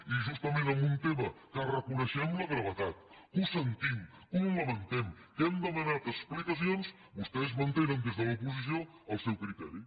i justament en un tema que en reconeixem la gravetat que ho sentim que ho lamentem que hem demanat explicacions vostès mantenen des de l’oposició el seu criteri